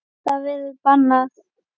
Það verður bannað.